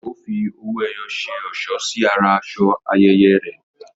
Ó fi owó ẹyọ ṣe ọ̀ṣọ́ sí ara aṣọ ayẹyẹ rẹ